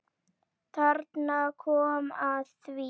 Þarna kom að því.